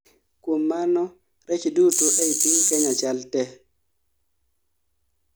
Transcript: Kuom mano rech duto ei piny Kenya chal te